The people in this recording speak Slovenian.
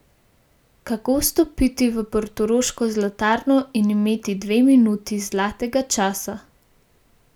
Kako vstopiti v portoroško zlatarno in imeti dve minuti zlatega časa?